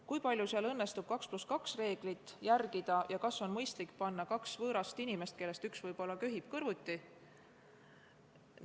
Kui palju neis kohtades õnnestub 2 + 2 reeglit järgida ja kas on mõistlik panna kaks võõrast inimest, kellest üks võib-olla köhib, kõrvuti?